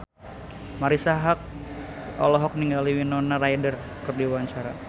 Marisa Haque olohok ningali Winona Ryder keur diwawancara